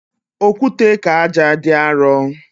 Okwute ka ájá dị arọ